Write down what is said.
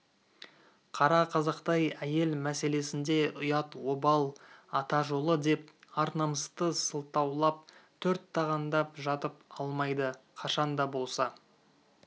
қара қазақтай әйел мәселесінде ұят обал ата жолы деп ар-намысты сылтаулап төрт тағандап жатып алмайды қашан да болса